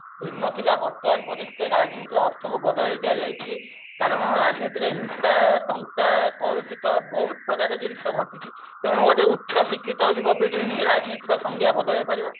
ଥିଲା ବର୍ତ୍ତମାନ ପରିସ୍ଥିତିରେ ରାଜନୀତି ଅର୍ଥକୁ ବଦଳେଇ ଦିଆଯାଇଛି କାରଣ ରାଜନୀତିରେ ହିଂସା ଟଙ୍କା କଳୁଷିତ ବହୁତ ପ୍ରକାର ଜିନିଷ ଘଟୁଛି ତେଣୁ ଗୋଟେ ଉଚ୍ଚ ଶିକ୍ଷିତ ଯୁବପିଢି ହିଁ ରାଜନୀତିଜ୍ଞ ସଂଜ୍ଞା ବଦଳେଇ ପାରିବ